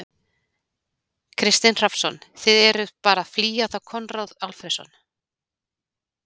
Kristinn Hrafnsson: Þið eruð bara að flýja þá Konráð Alfreðsson?